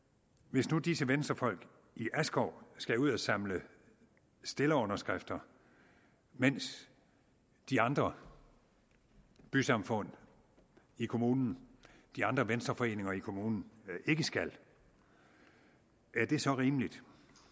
hvis nu disse venstrefolk i askov skal ud at samle stillerunderskrifter mens de andre bysamfund i kommunen de andre venstreforeninger i kommunen ikke skal er det så rimeligt